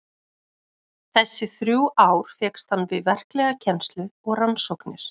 Þessi þrjú ár fékkst hann við verklega kennslu og rannsóknir.